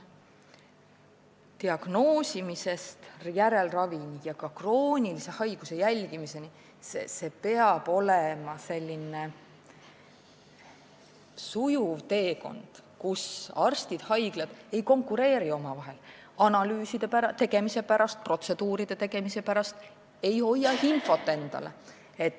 Diagnoosimisest järelravi ja ka kroonilise haiguse jälgimiseni – see peab olema sujuv teekond, kus arstid ja haiglad ei konkureeri omavahel analüüside ja protseduuride tegemise pärast ega hoia infot endale.